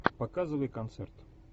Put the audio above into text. показывай концерт